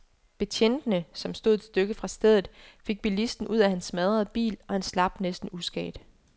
Betjentene, som stod et stykke fra stedet, fik bilisten ud af hans smadrede bil, og han slap næsten uskadt.